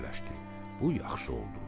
Bu yaxşı oldu.